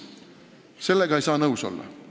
Sellega ei saa nõus olla.